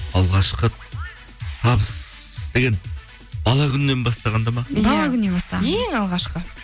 алғашқы табыс деген бала күннен бастағанда ма бала күннен бастаған ең алғашқы